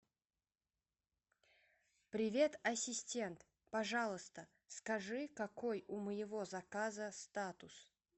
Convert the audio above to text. привет ассистент пожалуйста скажи какой у моего заказа статус